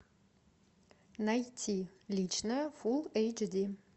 найти личное фулл эйч ди